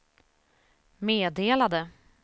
meddelade